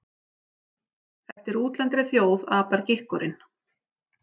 Eftir útlendri þjóð apar gikkurinn.